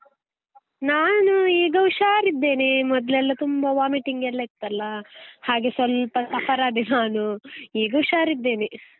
ನಾನು ಈಗ ಹುಷಾರಿದ್ದೇನೆ, ಮೊದ್ಲೆಲ್ಲಾ ತುಂಬಾ vomiting ಗೆಲ್ಲ ಇತ್ತಲ್ಲಾ, ಹಾಗೆ ಸ್ವಲ್ಪ suffer ಆದೆ ನಾನು ಈಗ ಹುಷಾರಿದ್ದೇನೆ.